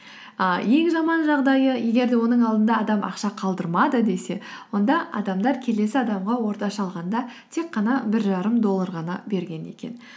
і ең жаман жағдайы егер де оның алдында адам ақша қалдырмады десе онда адамдар келесі адамға орташа алғанда тек қана бір жарым доллар ғана берген екен